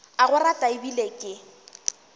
a go rata ebile ke